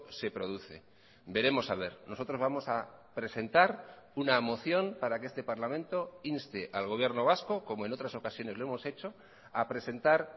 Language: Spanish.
se produce veremos a ver nosotros vamos a presentar una moción para que este parlamento inste al gobierno vasco como en otras ocasiones lo hemos hecho a presentar